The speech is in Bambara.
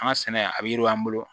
An ka sɛnɛ a bɛ yiriwa an bolo